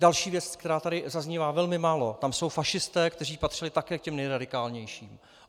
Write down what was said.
Další věc, která tady zaznívá, velmi málo, jsou tam fašisté, kteří patřili také k těm nejradikálnějším.